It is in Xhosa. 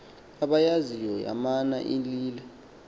abayaziyo yamana ilila